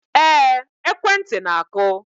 Ee, ekwentị na-akụ